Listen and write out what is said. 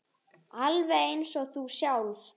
Alveg eins og hún sjálf.